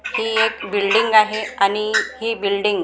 हि एक बिल्डींग आहे आणि हि बिल्डींग --